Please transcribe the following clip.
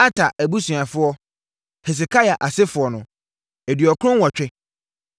Ater abusuafoɔ (Hesekia asefoɔ) 2 98 1